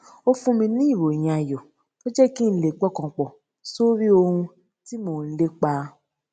ó fún mi ní ìròyìn ayò tó jé kí n lè pọkàn pò sórí ohun tí mò ń lépa